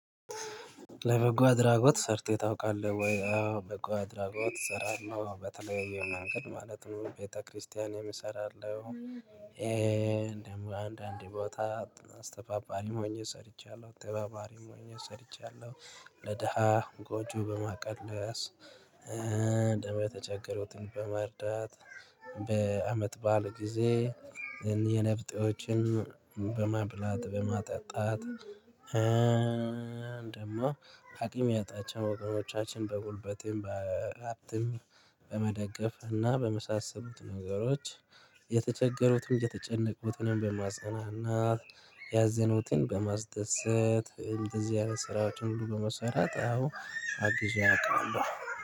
ለበጎ አድራጎት ሰርተህ ታውቃለህ ወይ? አዎ በጎ አድራጎት እሰራለው በተለይ መንገድ ማለትም ነው ቤተክርስቲያንም እሰራለው። አንዳንድ ቦታ አስተባባሪ ሆኜ ሰርቻለሁ አስተባባሪ ሆኜ ሰርቻለሁ። ለደሃ ጎጆ በማቀለስ እንዲሁም የተቸገሩት በመርዳት በአመት በዓል ጊዜ የኔ ብጤዎችን በማብላት በማጠጣት። ደሞ አቅም ያጣቸው ወገኖቻችን በጉልበቴም በሀብትም በመደገፍ እና በመሳሰሉት ነገሮች። የተቸገሩትም የተጨነቁትንም በማጽናናት ያዘኑትን በማስደሰት እንደዚህ ያለ ስራዎችን ሁሉ በመሰራት አዎ አግዤ አውቃለሁ።